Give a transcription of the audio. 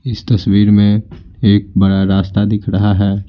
इस तस्वीर में एक बड़ा रास्ता दिख रहा है।